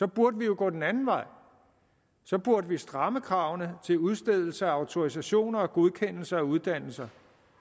burde vi jo gå den anden vej så burde vi stramme kravene til udstedelse af autorisationer og godkendelse af uddannelser